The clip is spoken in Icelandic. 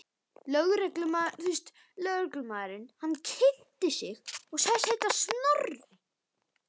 Lögreglumaðurinn kynnti sig og sagðist heita Snorri.